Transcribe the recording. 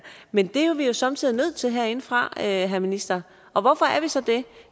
men det er vi jo somme tider nødt til herindefra herre minister og hvorfor er vi så det